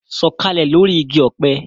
Sọ̀kalẹ̀ lórí igi ọ̀pẹ